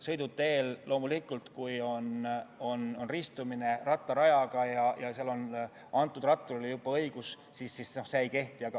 Sõidutee puhul on loomulikult nii, et kui see ristub rattarajaga – ja seal on ratturile juba õigus antud –, siis see ei kehti.